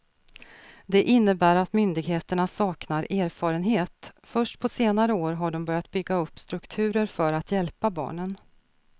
Det innebär att myndigheterna saknar erfarenhet, först på senare år har de börjat bygga upp strukturer för att hjälpa barnen.